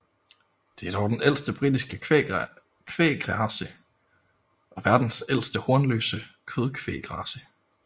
Det er den ældste britiske kvægrace og verdens ældste hornløse kødkvægrace